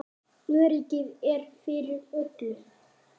Öryggið er fyrir öllu.